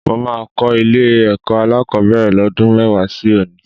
Mo máa kọ́ ilé-ẹ̀kọ́ alákọ̀ọ́bẹ̀rẹ̀ lọ́dún mẹ́wàá sí òní